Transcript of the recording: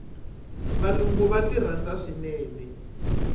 valungu va ti rhandza swinene